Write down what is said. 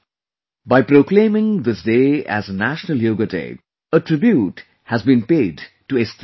By proclaiming this day as National Yoga Day, a tribute has been paid to Estrada ji